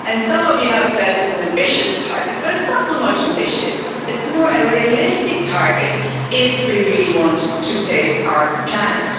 Some of you have said it's an ambitious target, but it's not so ambitious it's a more realistic target if we really want to save our planet.